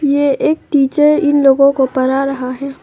ये एक टीचर इन लोगों को परा रहा है।